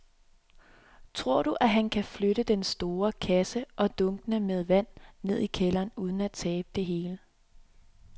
Tror du, at han kan flytte den store kasse og dunkene med vand ned i kælderen uden at tabe det hele?